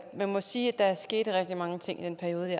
man må sige at der skete rigtig mange ting i den periode